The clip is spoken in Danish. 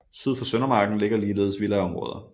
Syd for Søndermarken ligger ligeledes villaområder